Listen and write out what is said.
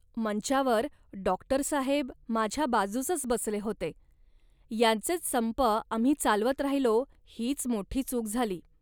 मंचावर डॉक्टरसाहेब माझ्या बाजूसच बसले होते. यांचेच संप आम्ही चालवत राहिलो हीच मोठी चूक झाली